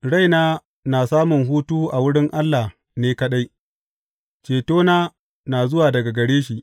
Raina na samun hutu a wurin Allah ne kaɗai; cetona na zuwa daga gare shi.